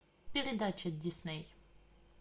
передача дисней